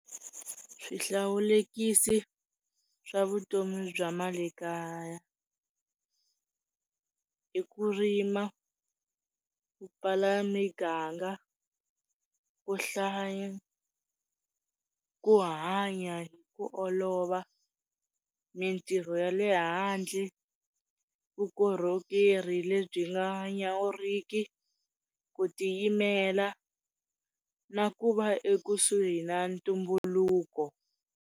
Swihlawulekisi swa vutomi bya mali kaya, i ku rima, ku pfala miganga, ku hlaya, ku hanya hi ku olova, mitirho ya le handle, vukorhokeri lebyi nga nyawuriki, ku tiyimela na ku va ekusuhi na ntumbuluko.